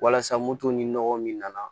Walasa moto ni nɔgɔ min nana